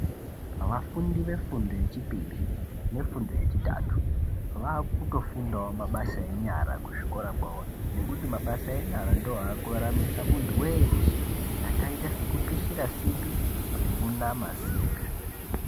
Vafundi vefundo yechipiri nefundo yechitatu vakutofundawo mabasa enyara kuzvikora kwavo nokuti mabasa enyara ndiwo aakuraramisa muntu weshe akaita sekupishira simbi nekunama simbi